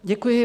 Děkuji.